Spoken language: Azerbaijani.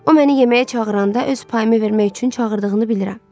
O məni yeməyə çağıranda öz payımı vermək üçün çağırdığını bilirəm.